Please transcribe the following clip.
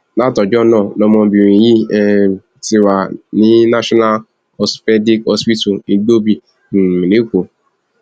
látọjọ náà lọmọbìnrin yìí um ti wà ní national osteopaedic hospital igbòbí um lẹkọọ